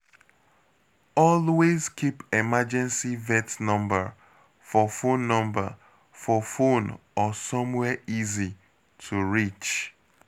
Always keep emergency vet number for phone number for phone or somewhere easy to reach.